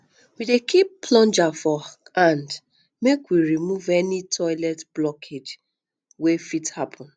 we dey keep plunger for hand make we remove um any toilet blockage wey um fit happun